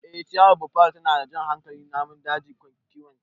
Ee ciyawar Buffalo tana jan hankalin namun daji da kiwonta.